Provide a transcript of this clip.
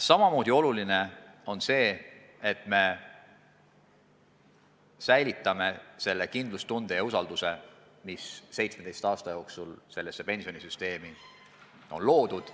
Samamoodi oluline on see, et me säilitame kindlustunde ja usalduse, mis 17 aasta jooksul seda pensionisüsteemi kasutades on loodud.